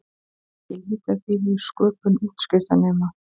Mikil litadýrð í sköpun útskriftarnema